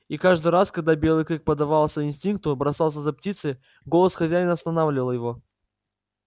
и каждый раз когда белый клык поддавался инстинкту бросался за птицей голос хозяина останавливал его